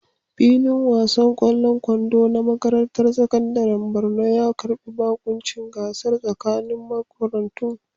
Filin wasan ƙwallon kwando na makarantar sakandaren Borno ya karbi baƙuncin gasar tsakanin makarantu.